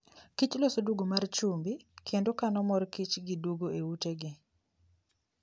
kich loso duogo mar chumbi kendo kano mor kich gi duogo e utegi